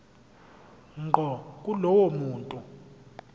ngqo kulowo muntu